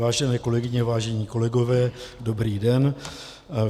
Vážené kolegyně, vážení kolegové, dobrý den.